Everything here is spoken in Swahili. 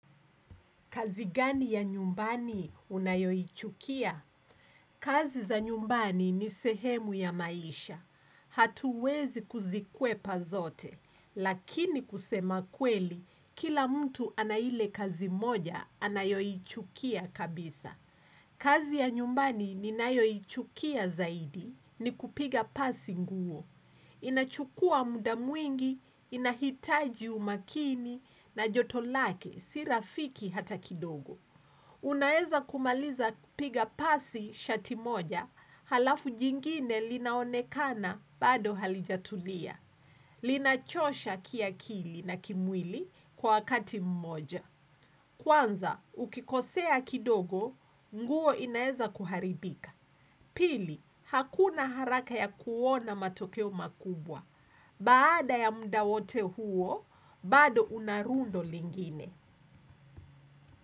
Kazi gani ya nyumbani unayoichukia? Kazi za nyumbani ni sehemu ya maisha. Hatuwezi kuzikwepazote. Lakini kusema kweli, kila mtu anaile kazi moja anayoichukia kabisa. Kazi ya nyumbani ni nayoichukia zaidi ni kupiga pasi nguo. Inachukua muda mwingi, inahitaji umakini na jotolake sirafiki hata kidogo. Unaweza kumaliza piga pasi shati moja, halafu jingine linaonekana bado halijatulia. Linachosha kia akili na kimwili kwa wakati mmoja. Kwanza, ukikosea kidogo, nguo inaeza kuharibika. Pili, hakuna haraka ya kuona matokeo makubwa. Baada ya muda wote huo, bado unarundo lingine.